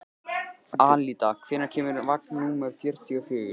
Alida, hvenær kemur vagn númer fjörutíu og fjögur?